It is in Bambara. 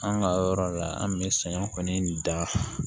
An ka yɔrɔ la an tun bɛ sɛgɛn kɔni da